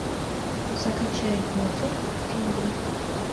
закачай моцарт в джунглях